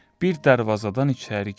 Bir darvazadan içəri girdi.